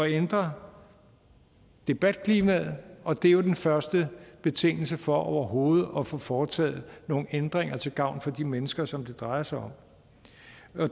ændre debatklimaet og det er jo den første betingelse for overhovedet at få foretaget nogle ændringer til gavn for de mennesker som det drejer sig om